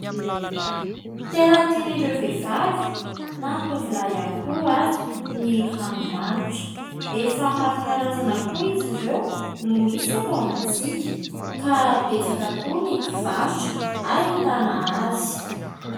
Tena tian'ireo vehivavy na ny tovolahy ihany koa aza ny ranomanitra, efa maro karazana koa izy ireo no misy eto amintsika ka betsaka koa ny mpivarotra ahitana azy.